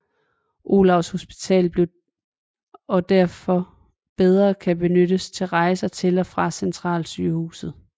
Olavs hospital og derfor bedre kan benyttes ved rejser til og fra centralsygehuset